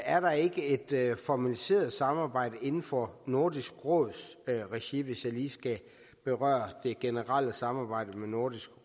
er der ikke et formaliseret samarbejde inden for nordisk råds regi hvis jeg lige skal berøre det generelle samarbejde med nordisk